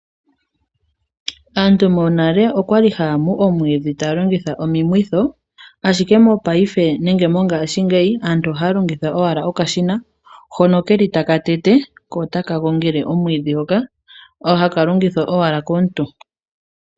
Aantu monale okwali haya mu omwiidhi taya longitha omamwitho. Ashike mongashingeyi aantu ohaya longitha owala okashina hono keli taka tete ko ota kagongele omwiidhi hoka haka longithwa komuntu.